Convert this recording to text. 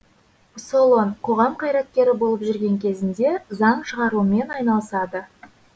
солон қоғам қайраткері болып жүрген кезінде заң шығарумен айналысады